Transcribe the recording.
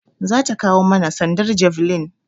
Za ta kawo mana sandar javelin.